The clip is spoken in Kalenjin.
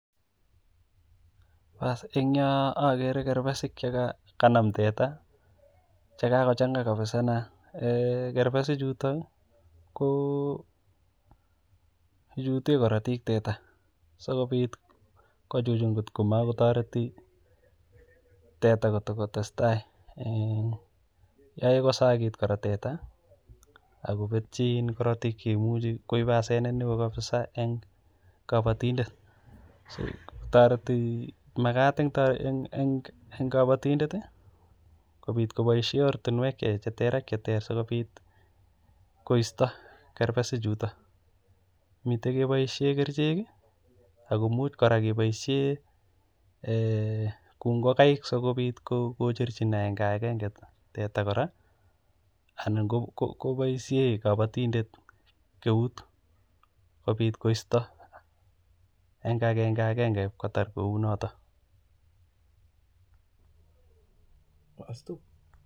baas eng yoon okere kerbesik chekanam teta chekakochang'a kabisaaa neaa eeh kerbesichuto kochuten korotik teta sikobit kochuchun komokotoreti teta kotokotesta, yoe kosakit kora teta ak kobetyi korotik koibu asenet neo kabisa en kobotindet, makat eng kobotindet kobisjhen oratinwek cheter ak cheter ak cheter sikopit koisto kerbesichuton, miten chekebishen kerichek ak komuch kora kouu ng'okaik sikocherchin akenge ak akenge sikocherchin teta akot kora anan koboishen kobotindet eut kobit koisto eng akenge ak akenge kotar kounotok.